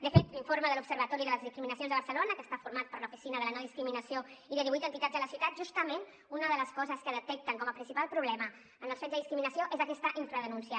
de fet l’informe de l’observatori de les discriminacions de barcelona que està format per l’oficina per la no discriminació i divuit entitats de la ciutat justament una de les coses que detecten com a principal problema en els fets de discriminació és aquesta infradenúncia